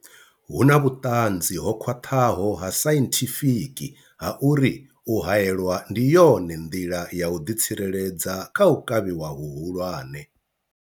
Hu na vhuṱanzi ho khwaṱhaho ha sainthifiki ha uri u haelwa ndi yone nḓila ya u ḓitsireledza kha u kavhiwa hu hulwane.